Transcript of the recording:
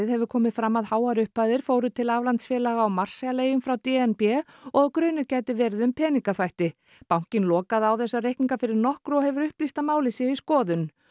hefur komið fram að háar upphæðir fóru til aflandsfélaga á Marshall eyjum frá d n b og að grunur gæti verið um peningaþvætti bankinn lokaði á þessa reikninga fyrir nokkru og hefur upplýst að málið sé í skoðun